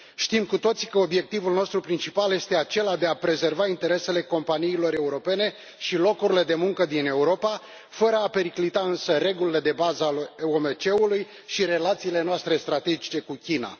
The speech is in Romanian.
Știm cu toții că obiectivul nostru principal este acela de a prezerva interesele companiilor europene și locurile de muncă din Europa, fără a periclita însă regulile de bază ale OMC și relațiile noastre strategice cu China.